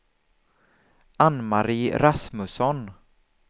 Ann-Mari Rasmusson